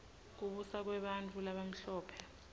kubusa kwebantfu labamhlope